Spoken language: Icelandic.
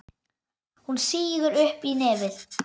Hún sýgur upp í nefið.